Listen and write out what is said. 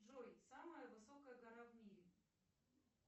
джой самая высокая гора в мире